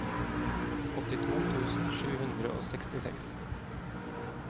åttito tusen sju hundre og sekstiseks